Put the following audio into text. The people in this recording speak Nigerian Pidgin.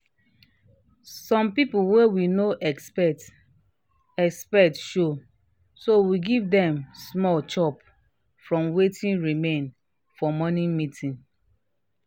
some people wey we no expect expect show so we give dem small chop from wetin remain um for morning meeting